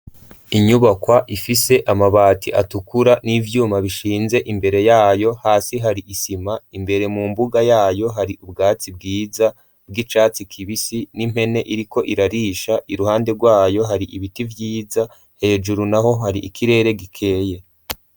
Inyubakwa ifise amabati atukura n'ivyuma bishinze imbere yayo hasi hari isima imbere mu mbuga yayo hari ubwatsi bwiza bw'icatsi kibisi n'impene iriko irarisha i ruhande rwayo hari ibiti vyiza hejuru naho hari ikirere gikeye.